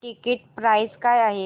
ticket price काय आहे